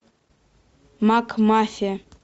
макмафия